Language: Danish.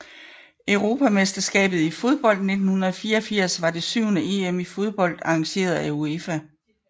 Europamesterskabet i fodbold 1984 var det syvende EM i fodbold arrangeret af UEFA